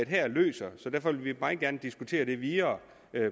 her løser så derfor vil vi meget gerne diskutere det videre